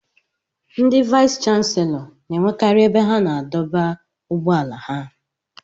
Ndị vayis chansilọ n'enwekari ebe ha na-adọba ụgbọala ha.